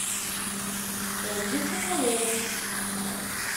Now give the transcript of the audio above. ольге соколовой